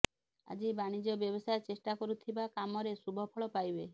ଆଜି ବାଣିଜ୍ୟ ବ୍ୟବସାୟ ଚେଷ୍ଟା କରୁଥିବା କାମରେ ଶୁଭଫଳ ପାଇବେ